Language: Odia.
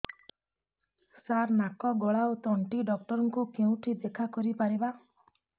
ସାର ନାକ ଗଳା ଓ ତଣ୍ଟି ଡକ୍ଟର ଙ୍କୁ କେଉଁଠି ଦେଖା କରିପାରିବା